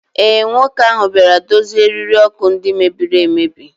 ee, nwoke ahụ bịara dozie eriri ọkụ ndị mebiri emebi